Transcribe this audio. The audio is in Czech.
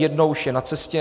Jedno už je na cestě.